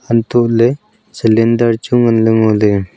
hantoh ley cylinder chu ngan ley ngo ley.